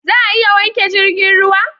Za a iya wanke jirgin ruwa?